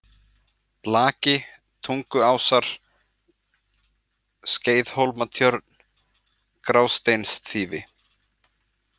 Laki, Tunguásar, Skeiðhólmatjörn, Grásteinsþýfi